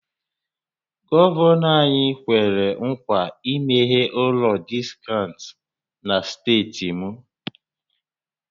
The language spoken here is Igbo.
Gọvanọ anyị kwere ńkwà imeghe ụlọ diskaụnt na steeti m